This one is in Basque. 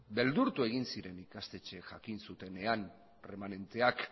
beldurtu egin ziren ikastetxeak jakin zutenean erremanenteak